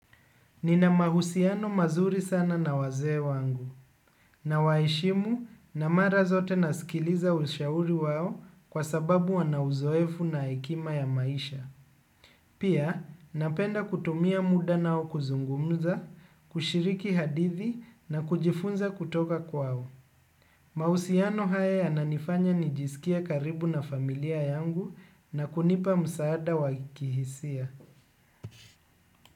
Nina mahusiano mazuri sana na wazee wangu. Nawaheshimu na mara zote nasikiliza ushauri wao kwa sababu wana uzoefu na hekima ya maisha. Pia napenda kutumia muda nao kuzungumza, kushiriki hadithi na kujifunza kutoka kwao. Mahusiano haya yananifanya nijisikie karibu na familia yangu na kunipa msaada wa kihisia.